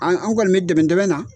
An an kɔni bɛ dɛmɛdɛmɛ na.